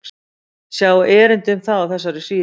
Sjá erindi um það á þessari síðu.